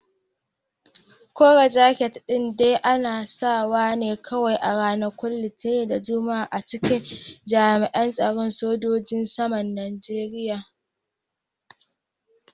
Koren jaket din dai ana sawa ne kawai a ranakun Litinin da Juma'a a cikin jami'in tsaron sojojin saman Najeriya.